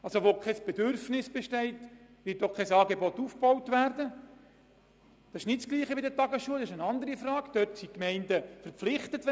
Das Ferienbetreuungsangebot ist nicht vergleichbar mit den Tagesschulen, wo ein Bedürfnis für die Gemeinde eine Pflicht bedeutet.